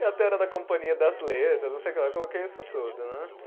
E até era da Companhia das Letras, não sei o que lá, eu coloquei isso tudo, né?